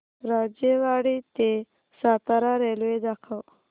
राजेवाडी ते सातारा रेल्वे दाखव